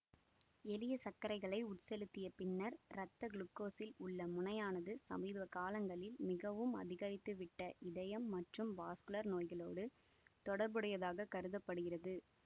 எளிய சர்க்கரைகளை உட்செலுத்திய பின்னர் இரத்த குளுக்கோஸில் உள்ள முனையானது சமீப காலங்களில் மிகவும் அதிகரித்துவிட்ட இதயம் மற்றும் வாஸ்குலர் நோய்களோடு தொடர்புடையதாகக் கருத படுகிறது